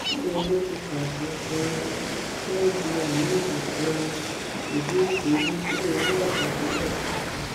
ilé ẹjọ́ ti pàṣẹ um kí wọn ju ahmed um idris olùṣirò ọwọ àgbà tẹlẹ sátìmọlé